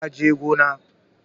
Ya je gona